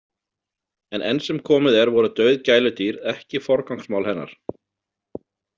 En enn sem komið er voru dauð gæludýr ekki forgangsmál hennar.